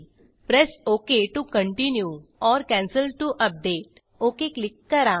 press okay to continue or cancel to update okay click करा